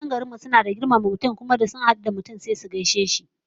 Matan unguwar mu suna da girmama mutane, da sun hadu da mutum sai su gaishe shi